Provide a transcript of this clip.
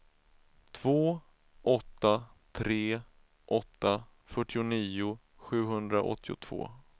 två åtta tre åtta fyrtionio sjuhundraåttiotvå